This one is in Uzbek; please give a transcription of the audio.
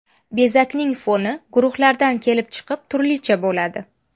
Bezakning foni guruhlardan kelib chiqib turlicha bo‘ladi.